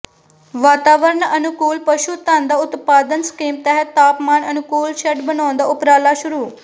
ਵਾਤਾਵਰਨ ਅਨੁਕੂਲ ਪਸ਼ੂ ਧੰਨ ਦਾ ਉਤਪਾਦਨ ਸਕੀਮ ਤਹਿਤ ਤਾਪਮਾਨ ਅਨੁਕੂਲ ਸ਼ੈੱਡ ਬਣਾਉਣ ਦਾ ਉਪਰਾਲਾ ਸ਼ੁਰੂ